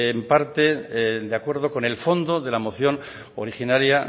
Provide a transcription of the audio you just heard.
en parte de acuerdo con el fondo de la moción originaria